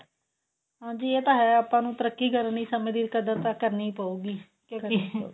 ਹਾਂਜੀ ਇਹ ਤਾਂ ਹੈ ਆਪਾਂ ਨੂੰ ਤਰਕੀ ਕਾਰਨ ਲਈ ਸਮੇਂ ਦੀ ਕਦਰ ਤਾਂ ਕਰਨੀ ਪਉਗੀ ਕਿਉਂਕਿ